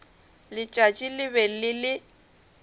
letšatši le be le le